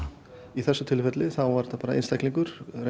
í þessu tilfelli var það einstaklingur